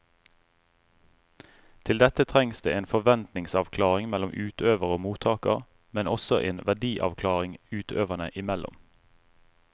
Til dette trengs det en forventningsavklaring mellom utøver og mottaker, men også en verdiavklaring utøverne imellom.